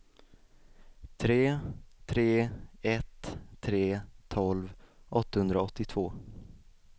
tre tre ett tre tolv åttahundraåttiotvå